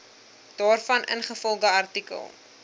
daarvan ingevolge artikel